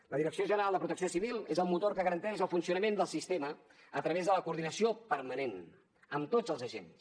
la direcció general de protecció civil és el motor que garanteix el funcionament del sistema a través de la coordinació permanent amb tots els agents